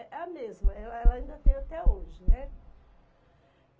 É a mesma, ela ela ainda tem até hoje, né?